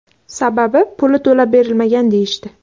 Sababi puli to‘lab berilmagan deyishdi.